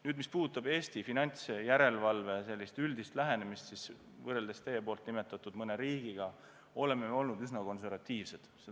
Nüüd, mis puudutab Eesti finantsjärelevalve üldist lähenemist, siis võrreldes mõne teie nimetatud riigiga me oleme olnud üsna konservatiivsed.